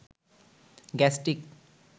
গ্যাস্টিক